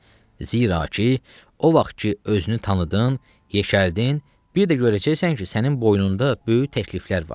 Zira ki, o vaxt ki özünü tanıdın, yekəldin, bir də görəcəksən ki, sənin boynunda böyük təkliflər var.